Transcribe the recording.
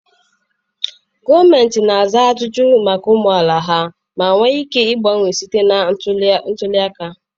Gọọmenti na-aza ajụjụ maka ụmụ amaala ha ma nwee ike gbanwee site na ntuli aka.